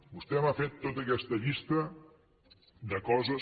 vostè m’ha fet tota aquesta llista de coses